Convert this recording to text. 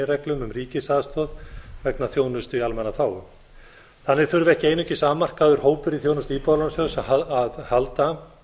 meginreglum um ríkisaðstoð vegna þjónustu í almannaþágu þannig þurfa ekki einungis afmarkaður hópur í þjónustu íbúðalánasjóðs að halda